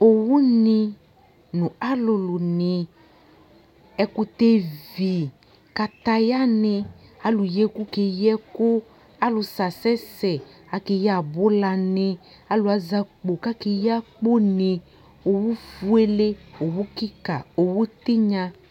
owu ni no alolo ni ɛkotɛ vi kataya ni alo yi ɛko keyi ɛko alo sɛ asɛ sɛ ake yi abola ni alo azɛ akpo ko akeyi akpo ni owu fuele owu keka owu tinya